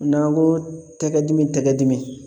N'an ko tɛgɛ dimi tɛgɛ dimi